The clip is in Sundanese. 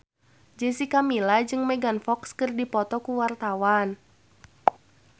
Jessica Milla jeung Megan Fox keur dipoto ku wartawan